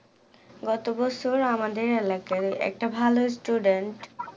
গত বছর আমাদের এলাকায় একটা ভালো student